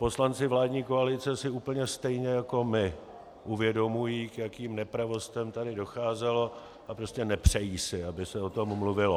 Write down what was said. Poslanci vládní koalice si úplně stejně jako my uvědomují, k jakým nepravostem tady docházelo, a prostě nepřejí si, aby se o tom mluvilo.